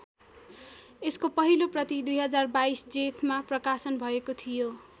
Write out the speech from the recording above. यसको पहिलो प्रति २०२२ जेठमा प्रकाशन भएको थियो।